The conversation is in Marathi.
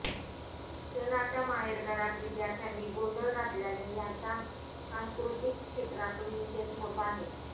शिक्षणाच्या माहेरघरात विद्यार्थ्यांनी गोंधळ घातल्याने याचा सांस्कृतिक क्षेत्रातून निषेध होत आहे